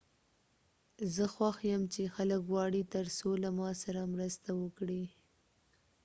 زه خوښ یم چې خلک غواړي ترڅو له ما سره مرسته وکړي